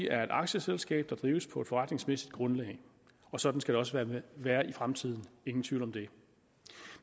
er et aktieselskab der drives på et forretningsmæssigt grundlag og sådan skal det også være i fremtiden ingen tvivl om det